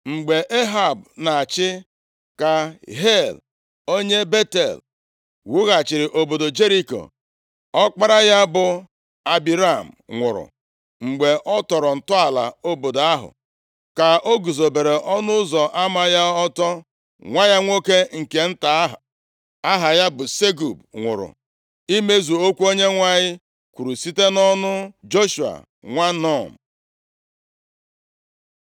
Mgbe Ehab na-achị, ka Hiel, onye Betel, wughachiri obodo Jeriko. Ọkpara ya bụ Abiram nwụrụ, mgbe ọ tọrọ ntọala obodo ahụ, ka ọ guzobere ọnụ ụzọ ama ya ọtọ, nwa ya nwoke nke nta aha ya bụ Segub nwụrụ, imezu okwu Onyenwe anyị kwuru site nʼọnụ Joshua nwa Nun.